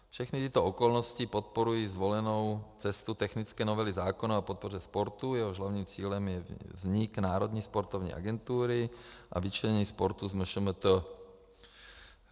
Všechny tyto okolnosti podporují zvolenou cestu technické novely zákona o podpoře sportu, jehož hlavním cílem je vznik Národní sportovní agentury a vyčlenění sportu z MŠMT.